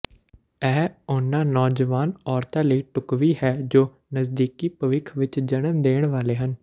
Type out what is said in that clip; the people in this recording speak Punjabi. ਇਹ ਉਹਨਾਂ ਨੌਜਵਾਨ ਔਰਤਾਂ ਲਈ ਢੁਕਵੀਂ ਹੈ ਜੋ ਨਜ਼ਦੀਕੀ ਭਵਿੱਖ ਵਿੱਚ ਜਨਮ ਦੇਣ ਵਾਲੇ ਹਨ